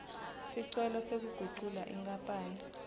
sicelo sekugucula inkapani